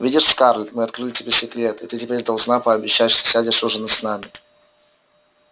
видишь скарлетт мы открыли тебе секрет и ты теперь должна пообещать что сядешь ужинать с нами